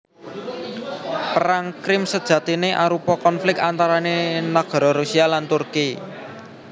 Perang Krim sejatiné arupa konflik antarané nagara Rusia lan Turki